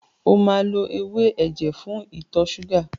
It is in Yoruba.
O máa lo ewé ẹ̀jẹ̀ fún ìtọ ṣúgà.